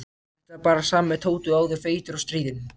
Þetta var bara sami Tóti og áður, feitur og stríðinn.